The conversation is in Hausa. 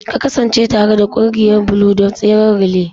Ka kasance tare da ƙungiyar Blue don tseren relay!